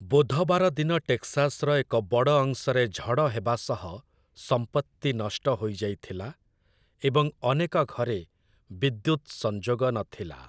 ବୁଧବାର ଦିନ ଟେକ୍‌ସାସ୍‌ର ଏକ ବଡ଼ ଅଂଶରେ ଝଡ଼ ହେବା ସହ ସମ୍ପତ୍ତି ନଷ୍ଟ ହୋଇଯାଇଥିଲା, ଏବଂ ଅନେକ ଘରେ ବିଦ୍ୟୁତ୍ ସଂଯୋଗ ନଥିଲା ।